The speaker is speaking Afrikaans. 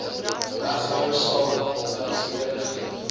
regtehouers sal werksgeleenthede